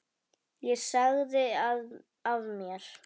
Ég sagði af mér.